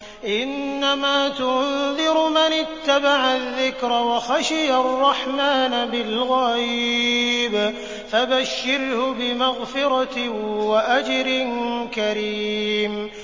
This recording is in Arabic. إِنَّمَا تُنذِرُ مَنِ اتَّبَعَ الذِّكْرَ وَخَشِيَ الرَّحْمَٰنَ بِالْغَيْبِ ۖ فَبَشِّرْهُ بِمَغْفِرَةٍ وَأَجْرٍ كَرِيمٍ